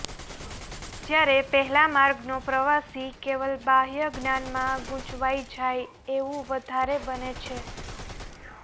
જ્યારે પહેલા માર્ગનો પ્રવાસી કેવલ બાહ્ય જ્ઞાનમાં ગુંચવાઈ જાય એવું વધારે બને છે